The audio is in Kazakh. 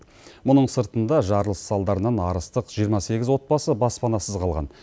мұның сыртында жарылыс салдарынан арыстық жиырма сегіз отбасы баспанасыз қалған